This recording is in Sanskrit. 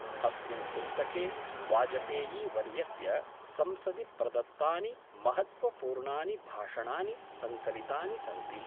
अस्मिन् पुस्तके वाजपेयीवर्यस्य संसदि प्रदत्तानि महत्वपूर्णानि भाषणानि संकलितानि सन्ति।